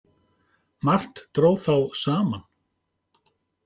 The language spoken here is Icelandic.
Margt dró þá saman.